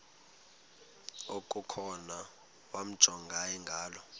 okukhona wamjongay ngaloo